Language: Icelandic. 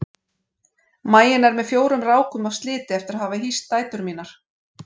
Maginn er með fjórum rákum af sliti eftir að hafa hýst dætur mínar.